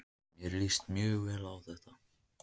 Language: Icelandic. Mér líst mjög vel á þetta